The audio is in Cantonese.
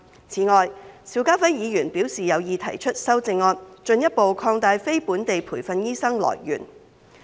此外，邵家輝議員表示有意提出修正案，進一步擴大非本地培訓醫生來源。